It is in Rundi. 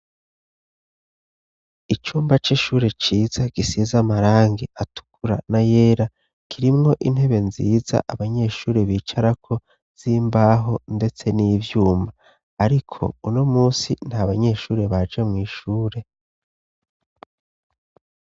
Icumba c'ishure ciza gisize amarangi atukura n'ayera, kirimwo intebe nziza abanyeshure bicarako z'imbaho ndetse n'ivyuma. Ariko uno munsi nta banyeshure baje mw'ishure.